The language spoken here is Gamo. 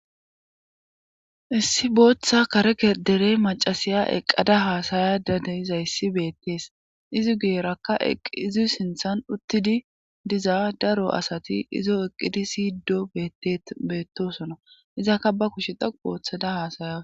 Issi booththa kareke derey macasiya eqqada haasaya dadeyizayssi beettees izi geerakka eqizi sinthan uttidi diza daro asati izo eqqidi siiddo beettet beettosona izakka ba kushe daqu booththada haasaya.